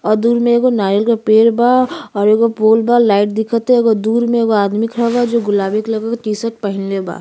और दूर मे एगो नारियल के पेड़ बा और एगो पोल बा। लाइट दिखता। एगो दूर मे आदमी खड़ा बा जो गुलाबी कलर के टीशर्ट पहिनले बा।